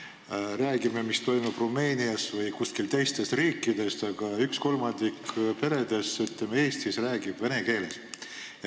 Me räägime, mis toimub Rumeenias või kuskil teistes riikides, aga kolmandik Eesti peredest räägib vene keeles.